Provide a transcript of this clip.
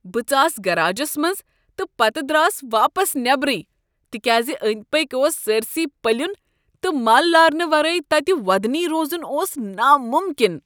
بہٕ ژاس گٔراجس منٛز تہٕ پتہٕ درٛاس واپس نیبرٕے تکیاز أنٛدۍ پٔکۍ اوس سٲرۍسٕے پلیُن تہٕ مل لارنہٕ ورٲے تتہ وۄدنۍ روزن اوس ناممکن۔